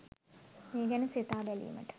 මේ ගැන සිතා බැලීමට